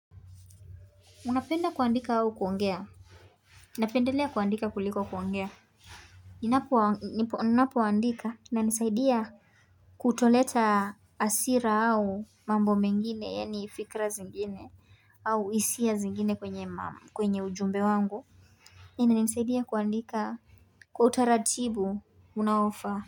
Unapenda kuandika au kuongea napendelea kuandika kuliko kuongea ninapoandika inanisaidia kutoleta hasira au mambo mengine yaani fikra zingine au hisia zingine kwenye ujumbe wangu inanisaidia kuandika kwa utaratibu unaofaa.